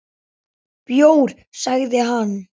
Bjór, sagði hann.